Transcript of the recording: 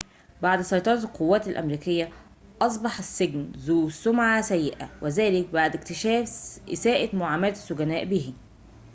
بعد سيطرة القوات الأمريكية أصبح السجن ذو سمعة سيئة وذلك بعد اكتشاف إساءة معاملة السجناء به